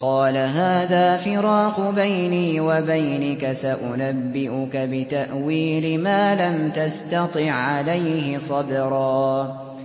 قَالَ هَٰذَا فِرَاقُ بَيْنِي وَبَيْنِكَ ۚ سَأُنَبِّئُكَ بِتَأْوِيلِ مَا لَمْ تَسْتَطِع عَّلَيْهِ صَبْرًا